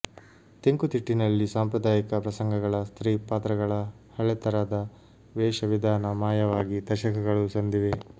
ತೆಂಕುತಿಟ್ಟಿನಲ್ಲಿ ಸಾಂಪ್ರದಾಯಿಕ ಪ್ರಸಂಗಗಳ ಸ್ತ್ರೀ ಪಾತ್ರಗಳ ಹಳೆತರದ ವೇಷ ವಿಧಾನ ಮಾಯವಾಗಿ ದಶಕಗಳು ಸಂದಿವೆ